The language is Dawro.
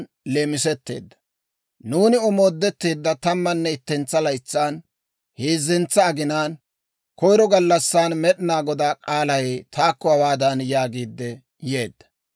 Nuuni omoodetteedda tammanne ittentsa laytsan, heezzentsa aginaan, koyiro gallassan, Med'inaa Godaa k'aalay taakko hawaadan yaagiidde yeedda;